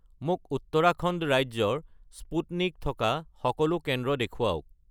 মোক উত্তৰাখণ্ড ৰাজ্যৰ স্পুটনিক থকা সকলো কেন্দ্ৰ দেখুৱাওক